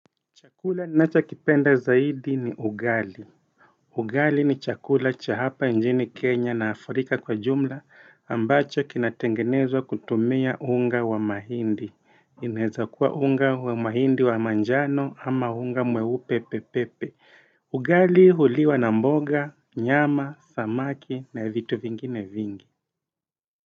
Chakula ninachokipenda zaidi ni ugali. Ugali ni chakula cha hapa nchini Kenya na Afrika kwa jumla ambacho kinatengenezwa kutumia unga wa mahindi. Ineza kuwa unga wa mahindi wa manjano ama unga mweupe pepepe. Ugali huliwa na mboga, nyama, samaki na vitu vingine vingi.